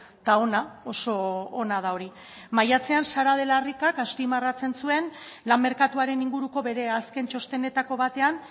eta ona oso ona da hori maiatzean sara de la ricak azpimarratzen zuen lan merkatuaren inguruko bere azken txostenetako batean